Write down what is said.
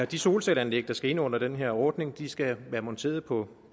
de solcelleanlæg der skal ind under den her ordning skal være monteret på